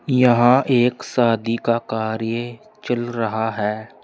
यहां एक शादी का कार्य चल रहा है।